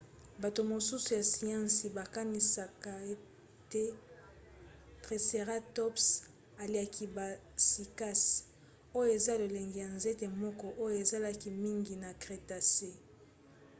bato mosusu ya siansi bakaniska ete triceratops aliaki ba cycas oyo eza lolenge ya nzete moko oyo ezalaki mingi na crétacé